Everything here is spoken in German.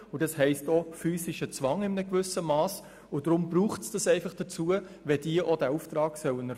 Das heisst auch, in einem gewissen Mass, physischer Zwang.